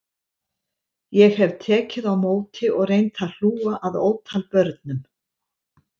Ég hef tekið á móti og reynt að hlúa að ótal börnum